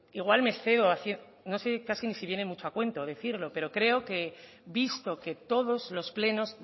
igual me excedo haciendo no sé casi ni si viene mucho a cuento decirlo pero creo que visto que en todos los plenos